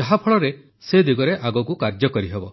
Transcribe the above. ଯାହାଫଳରେ ସେ ଦିଗରେ ଆଗକୁ କାର୍ଯ୍ୟ କରିହେବ